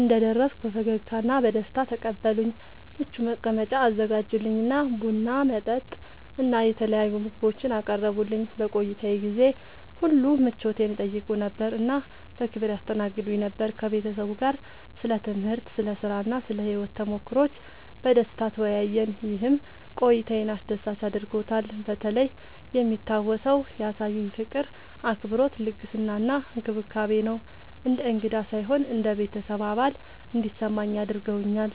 እንደደረስኩ በፈገግታ እና በደስታ ተቀበሉኝ፣ ምቹ መቀመጫ አዘጋጁልኝ እና ቡና፣ መጠጥ እና የተለያዩ ምግቦችን አቀረቡልኝ። በቆይታዬ ጊዜ ሁሉ ምቾቴን ይጠይቁ ነበር እና በክብር ያስተናግዱኝ ነበር። ከቤተሰቡ ጋር ስለ ትምህርት፣ ስለ ሥራ እና ስለ ሕይወት ተሞክሮዎች በደስታ ተወያየን፣ ይህም ቆይታዬን አስደሳች አድርጎታልበተለይ የሚታወሰው ያሳዩኝ ፍቅር፣ አክብሮት፣ ልግስና እና እንክብካቤ ነው። እንደ እንግዳ ሳይሆን እንደ ቤተሰብ አባል እንዲሰማኝ አድርገውኛል።